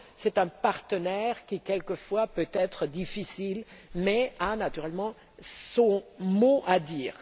C'est un partenaire qui peut quelquefois être difficile mais qui a, naturellement, son mot à dire.